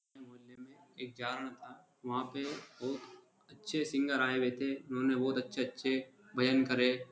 मोहल्ले में एक जागरण था। वहाँ पे बहुत अच्छे सिंगर आये हुए थे। उन्होंने बहुत अच्छे अच्छे भजन करें।